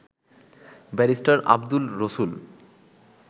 barrister Abdul রসুল